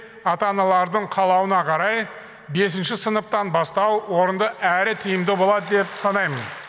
ата аналардың қалауына қарай бесінші сыныптан бастау орынды әрі тиімді болады деп санаймын